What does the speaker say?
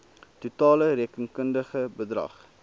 totale rekenkundige bedrag